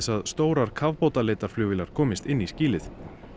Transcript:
að stórar kafbátaleitarflugvélar komist inn í skýlið